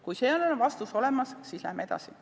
Kui sellele on vastus olemas, siis lähme edasi.